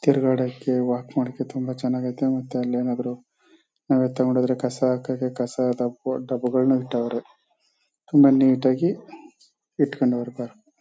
ತಿರ್ಗಾಡೋಕೆ walk ಮಾಡೋಕೆ ತುಂಬ ಚನ್ನಗದೆ ಮತ್ತೆ ಅಲ್ಲಯೇನಾದ್ರು ನಾವೇ ತಗೊಂಡ್ ಹೋದ್ರೆ ಕಸ ಹಾಕೋಕೆ ಕಾಸ್ ಡಬ್ಬಗಳ್ನು ಇಟ್ಟವ್ರೆ ಆಮೇಲೆ ನೀಟ್ ಆಗಿ ಇಟ್ಕೊಂಡವ್ರೆ.